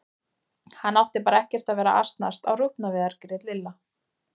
Hann átti bara ekkert að vera að asnast á rjúpnaveiðar grét Lilla.